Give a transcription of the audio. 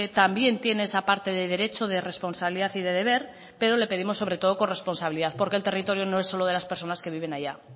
también tiene esa parte de derecho de responsabilidad y de deber pero le pedimos sobre todo corresponsabilidad porque el territorio no es solo de las personas que viven allá